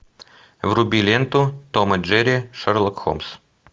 вруби ленту том и джерри шерлок холмс